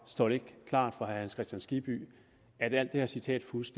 står det ikke klart for herre hans kristian skibby at alt det her citatfusk